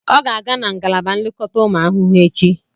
Ọ ga-aga na ngalaba nlekọta ụmụ ahụhụ echi